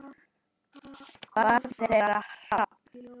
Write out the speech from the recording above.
Barn þeirra: Hrafn.